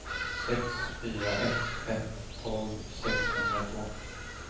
sex fyra ett ett tolv sexhundratvå